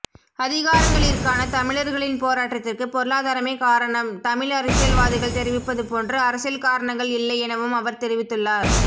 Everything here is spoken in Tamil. அதிகாரங்களிற்கான தமிழர்களின் போராட்டத்திற்கு பொருளாதாரமே காரணம் தமிழ் அரசியல்வாதிகள் தெரிவிப்பது போன்று அரசியல் காரணங்கள் இல்லை எனவும் அவர் தெரிவித்துள்ளார்